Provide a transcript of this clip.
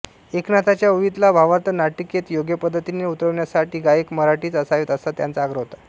एकनाथांच्या ओवीतला भावार्थ नाटिकेत योग्यपद्धतीने उतरण्यासाठी गायक मराठीच असावेत असा त्यांचा आग्रह होता